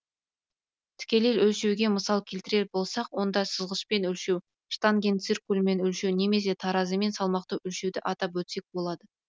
тікелей өлшеуге мысал келтірер болсақ онда сызғышпен өлшеу штангенциркульмен өлшеу немесе таразымен салмақты өлшеуді атап өтсек болады